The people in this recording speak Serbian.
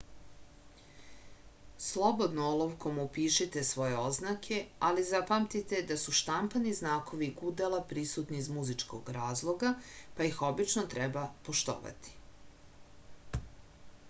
slobodno olovkom upišite svoje oznake ali zapamtite da su štampani znakovi gudala prisutni iz muzičkog razloga pa ih obično treba poštovati